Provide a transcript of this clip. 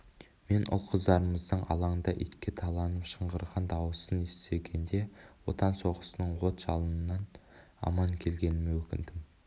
мен ұл-қыздарымыздың алаңда итке таланып шыңғырған дауысын естігенде отан соғысының от-жалынынан аман келгеніме өкіндім